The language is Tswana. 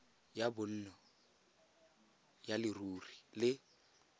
ya bonno ya leruri le